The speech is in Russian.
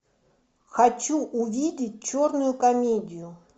хочу увидеть черную комедию